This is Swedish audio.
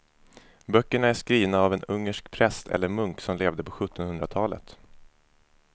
Böckerna är skrivna av en ungersk präst eller munk som levde på sjuttonhundratalet.